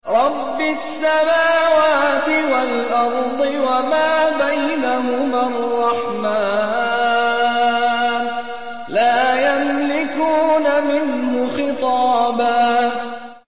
رَّبِّ السَّمَاوَاتِ وَالْأَرْضِ وَمَا بَيْنَهُمَا الرَّحْمَٰنِ ۖ لَا يَمْلِكُونَ مِنْهُ خِطَابًا